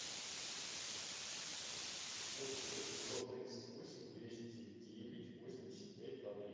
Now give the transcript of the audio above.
восемь восемьсот тридцать восемь двести девять восемьдесят пять два три